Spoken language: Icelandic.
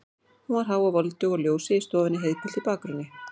Hún var há og voldug og ljósið í stofunni heiðgult í bakgrunni.